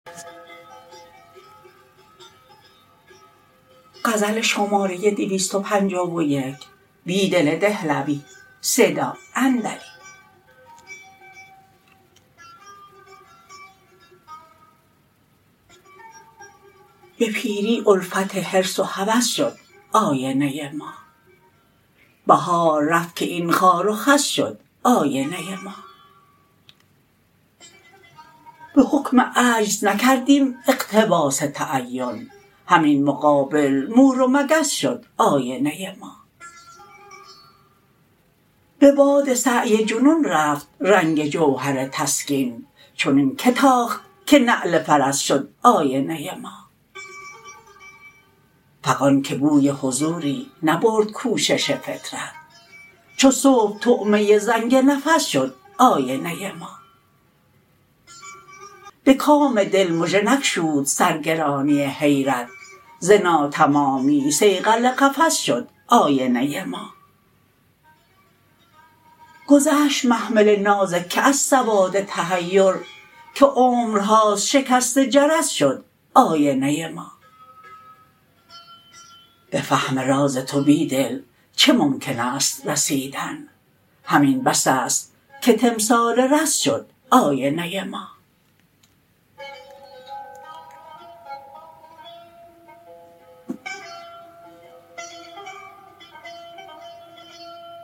به پیری الفت حرص و هوس شد آینه ما بهار رفت که این خار و خس شد آینه ما به حکم عجز نکردیم اقتباس تعین همین مقابل مور و مگس شد آینه ما به باد سعی جنون رفت رنگ جوهرتسکین چنین که تاخت که نعل فرس شد آینه ما فغان که بوی حضوری نبردکوشش فطرت چوصبح طعمه زنگ نفس شد آینه ما به کام دل مژه نگشود سرگرانی حیرت ز ناتمامی صیقل قفس شد آینه ما گذشت محمل نازکه از سواد تحیر که عمرهاست شکست جرس شد آینه ما به فهم رازتوبیدل چه ممکن اسث رسیدن همین بس است که تمثال رس شد آینه ما